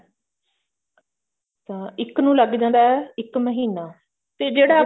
ਤਾਂ ਇੱਕ ਨੂੰ ਲੱਗ ਜਾਂਦਾ ਇੱਕ ਮਹੀਨਾ ਤੇ ਜਿਹੜਾ